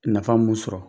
Nafa mun sɔrɔ